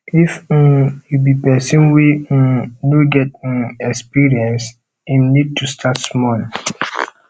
if um you be persin wey um no get um experience im need to start small